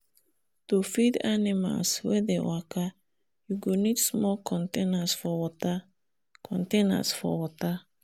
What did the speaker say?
to feed animals wen dey waka you go need small containers for water containers for water